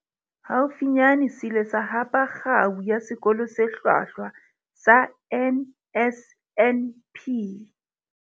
Haufinyane se ile sa hapa Kgao ya Sekolo se Hlwahlwa sa NSNP.